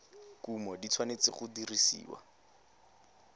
kumo di tshwanetse go dirisiwa